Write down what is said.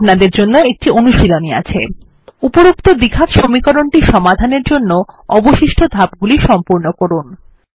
এখন আপনাদের জন্য একটি অনুশীলনী আছে উপরোক্ত দ্বিঘাত সমীকরণ সমাধান জন্য অবশিষ্ট ধাপগুলি সম্পূর্ণ করুন